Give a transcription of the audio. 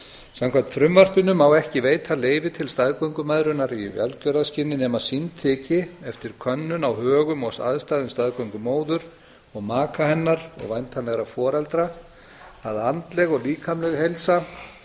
samkvæmt frumvarpinu má ekki veita leyfi til staðgöngumæðrunar í velgjörðarskyni nema sýnt þyki eftir könnun á högum og aðstæðum staðgöngumóður og maka hennar og væntanlegra foreldra að andleg og líkamleg heilsa